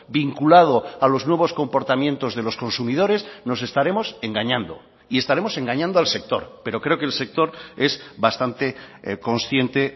vinculado a los nuevos comportamientos de los consumidores nos estaremos engañando y estaremos engañando al sector pero creo que el sector es bastante consciente